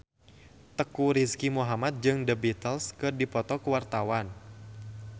Teuku Rizky Muhammad jeung The Beatles keur dipoto ku wartawan